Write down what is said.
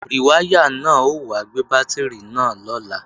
Rìwáyà náà ó wá gbé bátìrì náà lọ́la